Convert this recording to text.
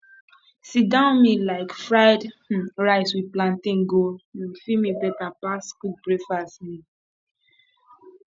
sitdown meal like fried um rice with plantain go um fill me better pass quick breakfast um